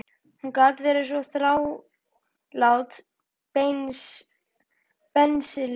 Hún gat verið svo þrálát, bensínlyktin.